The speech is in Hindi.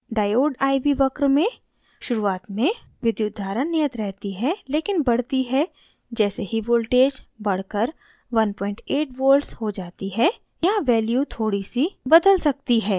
diode iv वक्र में शुरुआत में विद्युत धारा नियत रहती है लेकिन बढ़ती है जैसे ही voltage बढ़कर 18 volts हो जाती है यहाँ value थोड़ी सी बदल सकती है